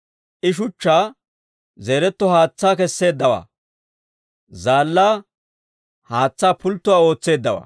I Shuchchaa zeereeto haatsaa kesseeddawaa; zaallaa, haatsaa pulttuwaa ootseeddawaa.